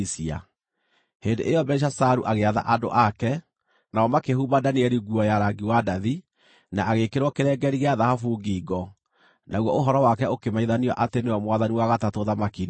Hĩndĩ ĩyo Belishazaru agĩatha andũ ake, nao makĩhumba Danieli nguo ya rangi wa ndathi, na agĩĩkĩrwo kĩrengeeri gĩa thahabu ngingo, naguo ũhoro wake ũkĩmenyithanio atĩ nĩwe mwathani wa gatatũ ũthamaki-inĩ ũcio.